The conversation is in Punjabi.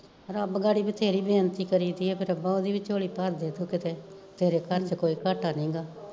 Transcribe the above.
ਰੱਬ ਗਾਡੀ ਬਥੇਰੀ ਬੇਨਤੀ ਕਰੀ ਤੀ ਕਿ ਰੱਬਾ ਓਦੀ ਵੀ ਝੋਲੀ ਭਰਦੇ ਤੂੰ ਕਿਤੇ, ਤੇਰੇ ਘਰ ਚ ਕੋਈ ਘਾਟਾ ਨੀ ਹੈਗਾ